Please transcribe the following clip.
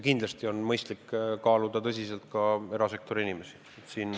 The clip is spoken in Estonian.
Kindlasti on mõistlik kaaluda tõsiselt ka erasektori inimesi.